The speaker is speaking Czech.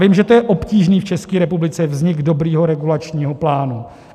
Vím, že to je obtížné v České republice, vznik dobrého regulačního plánu.